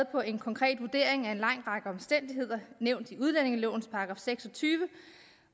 på en konkret vurdering af en lang række omstændigheder der nævnt i udlændingelovens § seks og tyve